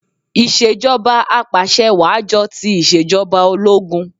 Ìṣèjọbà apàṣẹwàá jọ ti ìṣèjọba ológun